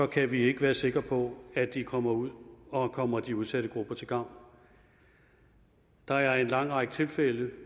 kan vi ikke være sikker på at de kommer ud og kommer de udsatte grupper til gavn der er en lang række tilfælde